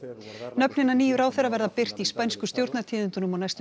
nöfn hinna nýju ráðherra verða birt í spænsku stjórnartíðindunum á næstu